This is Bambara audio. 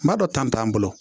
M'a dɔn tan t'an bolo